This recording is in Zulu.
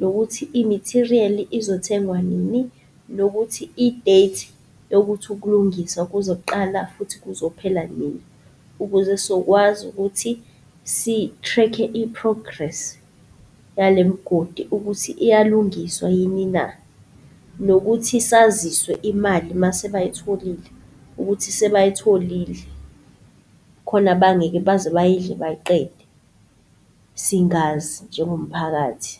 Nokuthi imetheriyeli izothengwa nini? Nokuthi i-date yokuthi ukulungiswa kuzoqala futhi kuzophela nina? Ukuze sizokwazi ukuthi si-track-e i-progress yale migodi ukuthi iyalungiswa yini na? Nokuthi saziswe imali mase bayitholile ukuthi sebayitholile, khona bangeke baze bayidle bayiqede singazi njengomphakathi.